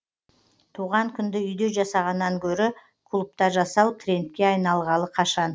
туған күнді үйде жасағаннан гөрі клубта жасау трендке айналғалы қашан